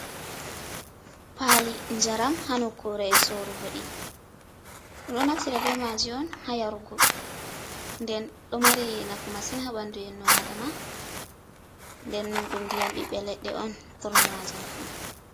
Pa'li jaram hanukkure sorugo ɗi, ɗum ɗo naftira be ma'ji on hayarugo, nden ɗo mari nafu masin haɓandu innu a'dama nden ɗum ndiyam ɓɓiɓe leɗɗe on ɓurna ma'jam fu.